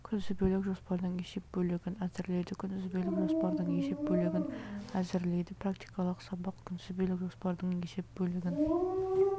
күнтізбелік жоспардың есеп бөлігін әзірлейді күнтізбелік жоспардың есеп бөлігін әзірлейді практикалық сабақ күнтізбелік жоспардың есеп бөлігін